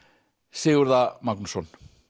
Sigurð a Magnússon